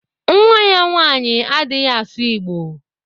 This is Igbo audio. Nwa ya nwaanyị adịghị asụ Igbo.